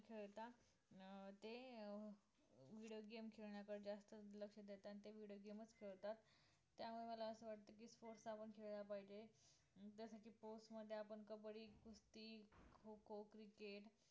खेळता अं ते अं video game खेळण्याकडे जास्त लक्ष देतात आणि ते video game च खेळतात त्यामुळे मला असं वाटतं की sports आपण खेळले पाहिजे जसं की sports मध्ये आपण कबड्डी, कुस्ती, खो खो, cricket